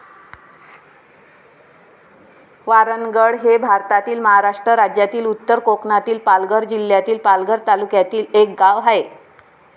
वारणगड हे भारतातील महाराष्ट्र राज्यातील उत्तर कोकणातील पालघर जिल्ह्यातील पालघर तालुक्यातील एक गाव आहे.